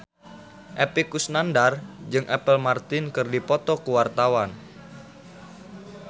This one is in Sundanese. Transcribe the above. Epy Kusnandar jeung Apple Martin keur dipoto ku wartawan